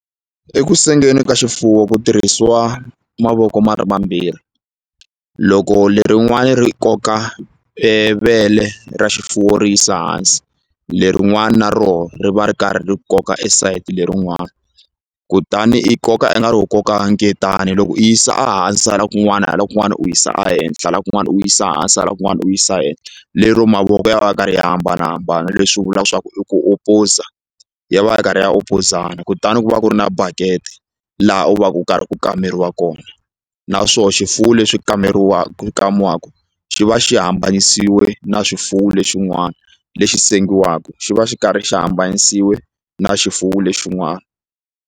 Eku sengeni ka xifuwo ku tirhisiwa mavoko ma ri mambirhi loko lerin'wani ri koka e vele ra xifuwo ri yisa hansi lerin'wani na roho ri va ri karhi ri koka e sayiti lerin'wani kutani i koka ingari ho koka nketani loko i yi yisa a hansi hala kun'wana hala kun'wana u yisa a henhla hala kun'wana u yisa hansi hala kun'wana u yisa henhla lero mavoko ya va ya karhi ya hambanahambana leswi vulaku swa ku i ku opposer ya va ya karhi ya opozana kutani ku va ku ri na bucket laha u va ku karhi ku kameriwa kona na swo xifuwo leswi kaneriwaku ku kamiwaku xi va xi hambanisiwe na swifuwo lexin'wana lexi sengiwaku xi va xi karhi xi hambanisiwe na xifuwo lexin'wana.